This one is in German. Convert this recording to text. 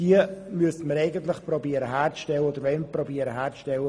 Mit der vorliegenden Motion wollen wir versuchen, diese sicherzustellen.